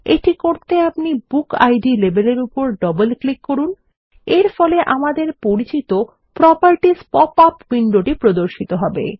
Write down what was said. এটি করতে আপনি বুকিড লেবেল এর উপর ডবল ক্লিক করুন এরফলে আমাদের পরিচিত প্রোপার্টিস পপ আপ উইন্ডো প্রর্দশিত করবে